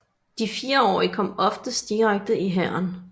De fireårige kom oftest direkte i hæren